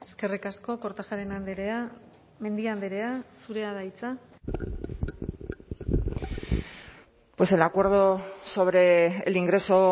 eskerrik asko kortajarena andrea mendia andrea zurea da hitza pues el acuerdo sobre el ingreso